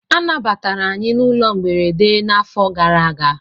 A nabatara anyị na ụlọ mberede n'afọ gara aga.